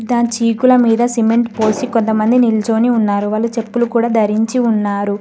దాని చీకుల మీద సిమెంట్ పోసి కొంతమంది నిలుచొని ఉన్నారు వాళ్ళు చెప్పులు కూడా ధరించి ఉన్నారు.